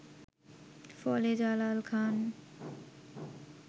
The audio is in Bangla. ফলে জালাল খান